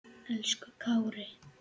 Elsku Kári.